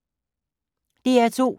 DR2